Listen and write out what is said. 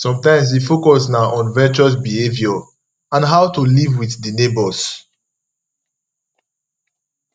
sometimes di focus na on virtuous behavior and how to live with di neigbours